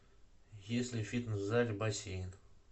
есть ли в фитнес зале бассейн